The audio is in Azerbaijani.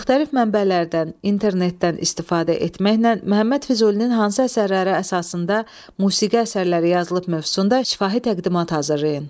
Müxtəlif mənbələrdən, internetdən istifadə etməklə Məhəmməd Füzulinin hansı əsərləri əsasında musiqi əsərləri yazılıb mövzusunda şifahi təqdimat hazırlayın.